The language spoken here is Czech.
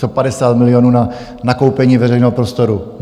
Co 50 milionů na nakoupení veřejného prostoru?